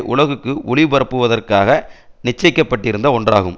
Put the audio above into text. உலகுக்கு ஒலிபரப்புவதற்காக நிச்சயிக்கப்பட்டிருந்த ஒன்றாகும்